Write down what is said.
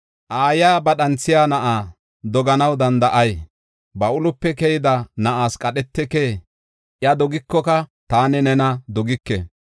Aayiya ba dhanthiya na7aa doganaw danda7ay? Ba ulope keyida na7as qadhetekee? Iya dogikoka, taani nena dogike!